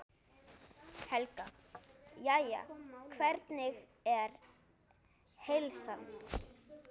Helga: Jæja, hvernig er heilsan?